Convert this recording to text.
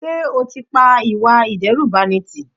Sé o ti pa ìwà ìdẹ́rùbani tí?